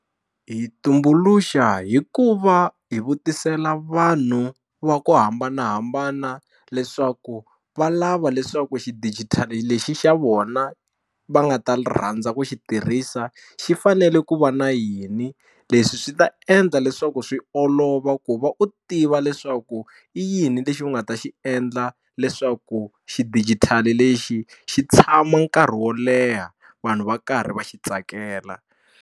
Hi yi tumbuluxa hi ku va hi vutisela vanhu va ku hambanahambana leswaku va lava leswaku xidigitali lexi xa vona va nga ta rhandza ku xi tirhisa xi fanele ku va na yini leswi swi ta endla leswaku swi olova ku va u tiva leswaku i yini lexi u nga ta xi endla leswaku xidigitali lexi xi tshama nkarhi wo leha vanhu va karhi va xi tsakela.